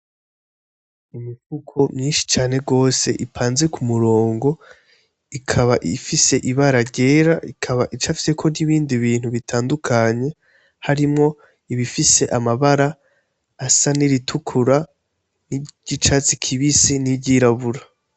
Imifuko myinshi cane rwose ipanzi ku murongo ikaba ifise ibara ryera ikaba icafyeko n'ibindi bintu bitandukanye harimwo ibifise amabara asa niritukura n'igyo icatsi kibisi n'iryirabura.